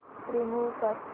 remove कर